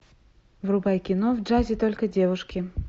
врубай кино в джазе только девушки